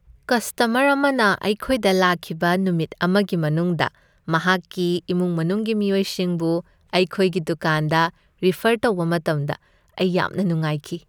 Customer ꯑꯃꯅ ꯑꯩꯈꯣꯏꯗ ꯂꯥꯛꯈꯤꯕ ꯅꯨꯃꯤꯠ ꯑꯃꯒꯤ ꯃꯅꯨꯡꯗ ꯃꯍꯥꯛꯀꯤ ꯏꯃꯨꯡ ꯃꯅꯨꯡꯒꯤ ꯃꯤꯑꯣꯏꯁꯤꯡꯕꯨ ꯑꯩꯈꯣꯏꯒꯤ ꯗꯨꯀꯥꯟꯗ ꯔꯤꯐꯔ ꯇꯧꯕ ꯃꯇꯝꯗ ꯑꯩ ꯌꯥꯝꯅ ꯅꯨꯡꯉꯥꯏꯈꯤ꯫